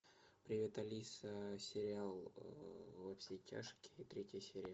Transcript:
привет алиса сериал во все тяжкие третья серия